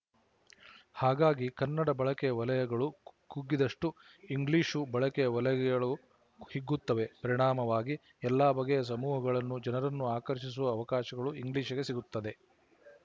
ಹಾಗಾಗಿ ಕನ್ನಡ ಬಳಕೆಯ ವಲಯಗಳು ಕುಗ್ಗಿದಷ್ಟು ಇಂಗ್ಲಿಶು ಬಳಕೆಯ ವಲಯಗಳು ಹಿಗ್ಗುತ್ತವೆ ಪರಿಣಾಮವಾಗಿ ಎಲ್ಲಾ ಬಗೆಯ ಸಮೂಹಗಳ ಜನರನ್ನು ಆಕರ್ಶಿಸುವ ಅವಕಾಶಗಳು ಇಂಗ್ಲಿಶಿಗೆ ಸಿಗುತ್ತವೆ